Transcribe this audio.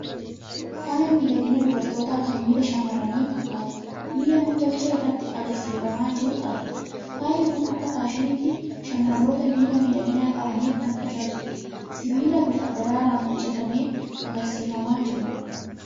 Faaya miidhaginaa dubartootaa kan miila shamarranii fakkaatu, miila nam-tolchee irratti agarsiifamaa jiru argina. Faayi kun akka faashiniitti shamarroota miila miidhagaa qabaniif kan tajaajiludha. Sibiila bifa daraaraan hojjetamee agarsiifamaa jiru dha.